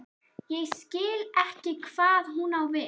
Ég skil ekki hvað hún á við.